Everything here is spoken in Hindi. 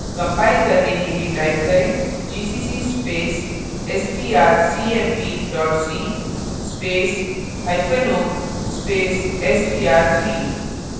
कंपाइल करने के लिए type करेंgcc space strcmp c space hyphen o space str3